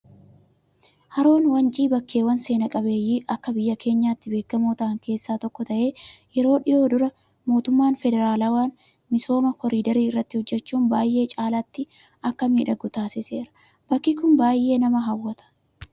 Haroon Wancii bakkeewwan seenaa qabeeyyii akka biyya keenyaatti beekamoo ta'an keessaa tokko ta'ee, yeroo dhiyoo dura mootummaan federaalawaa misooma koriidarii irratti hojjachuun baay'ee caalaatti akka miidhagu taasiseera. Bakki Kun baay'ee nama hawwata